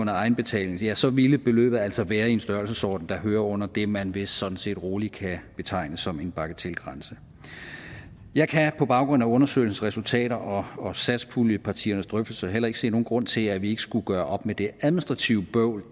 egenbetaling ja så ville beløbet altså være i en størrelsesorden der hører under det man vist sådan set roligt kan betegne som en bagatelgrænse jeg kan på baggrund af undersøgelsens resultater og og satspuljepartiernes drøftelser heller ikke se nogen grund til at vi ikke skulle gøre op med det administrative bøvl og